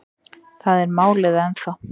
Þar er málið ennþá.